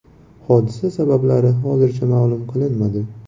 Hodisa sabablari hozircha ma’lum qilinmadi.